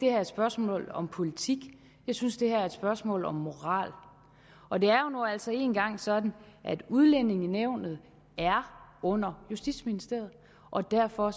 er et spørgsmål om politik jeg synes det er et spørgsmål om moral og det er nu altså engang sådan at udlændingenævnet er under justitsministeriet og derfor